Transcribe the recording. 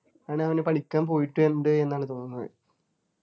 ആണ് അവനു പഠിക്കാൻ പോയിട്ടുണ്ട് എന്നാണ് തോന്നുന്നത്